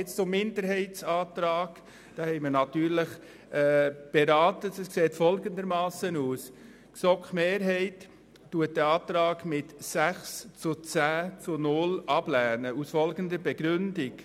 Den Minderheitsantrag lehnt die Mehrheit der GSoK mit 10 zu 6 Stimmen ohne Enthaltungen ab.